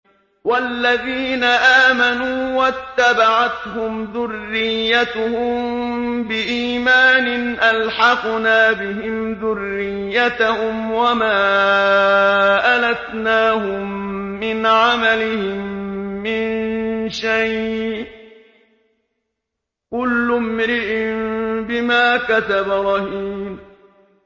وَالَّذِينَ آمَنُوا وَاتَّبَعَتْهُمْ ذُرِّيَّتُهُم بِإِيمَانٍ أَلْحَقْنَا بِهِمْ ذُرِّيَّتَهُمْ وَمَا أَلَتْنَاهُم مِّنْ عَمَلِهِم مِّن شَيْءٍ ۚ كُلُّ امْرِئٍ بِمَا كَسَبَ رَهِينٌ